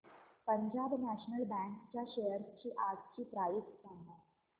Punjab national bank च्या shares आजची price सांगा